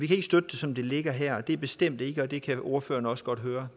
kan støtte det som det ligger her og det er bestemt ikke og det kan ordføreren også godt høre